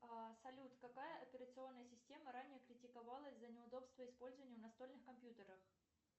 салют какая операционная система ранее критиковалась за неудобство использования в настольных компьютерах